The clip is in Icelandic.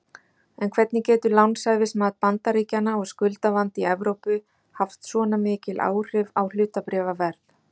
En hvernig getur lánshæfismat Bandaríkjanna og skuldavandi í Evrópu haft svona mikil áhrif á hlutabréfaverð?